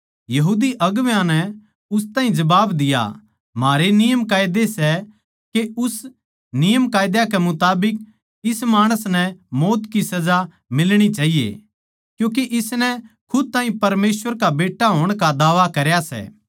यहूदी अगुवां नै उस ताहीं जबाब दिया म्हारे नियमकायदे सै अर उस नियमकायदा कै मुताबिक इस माणस नै मौत की सजा मिलणी चाहिये क्यूँके इसनै खुद ताहीं परमेसवर का बेट्टा होण का दावा करया सै